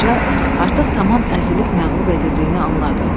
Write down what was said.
Qoca artıq tamam əzilib məğlub edildiyini anladı.